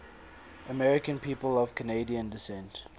american people of canadian descent